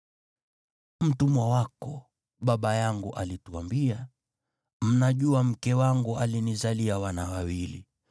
“Mtumwa wako baba yangu alituambia, ‘Mnajua mke wangu alinizalia wana wawili.